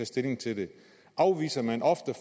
stilling til det afviser man ofte